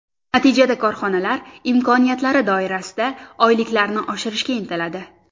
Natijada korxonalar imkoniyatlari doirasida oyliklarni oshirishga intiladi.